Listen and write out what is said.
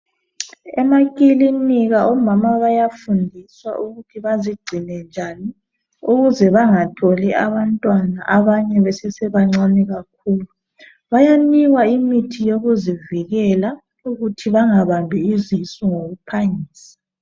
Emakilinika omama bayafundiswa ukuthi bazigcine njani ukuze bangatholi abantwana abanye besesebancane kakhulu Bayanikwa imithi yokuzivikela ukuthi bangabambi izisu ngokuphangisa